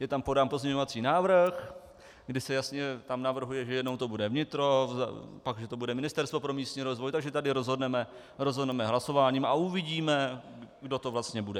Je tam podán pozměňovací návrh, kdy se tam jasně navrhuje, že jednou to bude vnitro, pak že to bude Ministerstvo pro místní rozvoj, takže tady rozhodneme hlasováním a uvidíme, kdo to vlastně bude.